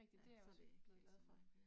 Ja, så kan det ikke være så meget bedre